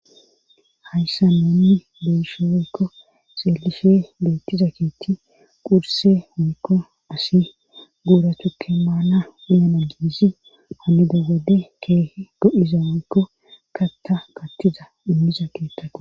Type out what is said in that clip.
Hayssa noonni beshoweykko seelife beettiza keetti qurse hoykko asi guura tukke maana uyana giizi aneda gode keehe do'iza waynkko katta kattiza immiza keettako